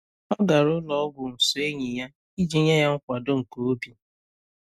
Ọ gara ụlọ ọgwụ so enyi ya, iji nye ya nkwado nke obi.